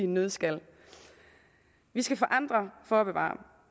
nøddeskal vi skal forandre for at bevare